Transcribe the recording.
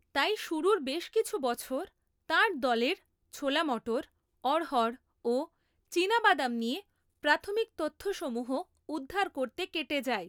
তাই শুরুর বেশ কিছু বছর তাঁর দলের ছোলা মটর, অড়হর, ও চীনাবাদাম নিয়ে প্রাথমিক তথ্যসমূহ উদ্ধার করতে কেটে যায়।